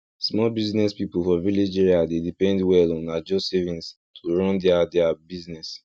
small business people for village area dey depend well on ajo savings to run their their business